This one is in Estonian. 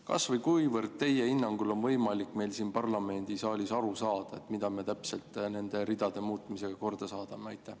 Kas või kuivõrd teie hinnangul on võimalik meil siin parlamendisaalis aru saada, mida me täpselt nende ridade muutmisega korda saadame?